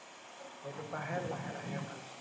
সেইটোপাহে লাহে লাহে ভাল হৈছে।